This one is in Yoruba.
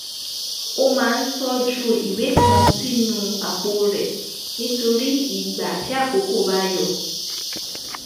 ó máa ń tójú ìwé kan sínú àpò rẹ̀ nítorí ìgbà tí àkókó bá yọ